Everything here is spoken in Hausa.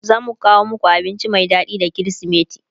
zamu kawo maku abinci Mai daɗi da krismeti